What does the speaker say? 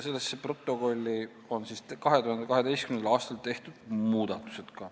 2012. aastal on sellesse protokolli tehtud ka muudatused.